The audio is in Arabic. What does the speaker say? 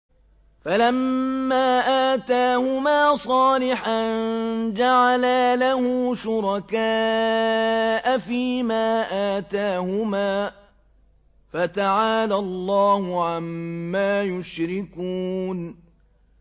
فَلَمَّا آتَاهُمَا صَالِحًا جَعَلَا لَهُ شُرَكَاءَ فِيمَا آتَاهُمَا ۚ فَتَعَالَى اللَّهُ عَمَّا يُشْرِكُونَ